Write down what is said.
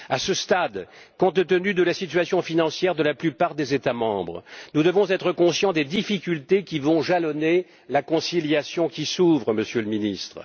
À ce stade, compte tenu de la situation financière de la plupart des États membres, nous devons être conscients des difficultés qui vont jalonner la conciliation qui s'ouvre, Monsieur le Ministre.